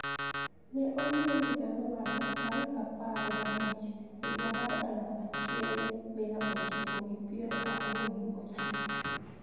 Ne onyuole Januar tarik apar gabich, higa mar aluf achiel mia ochiko gi pier ariyo gi ochiko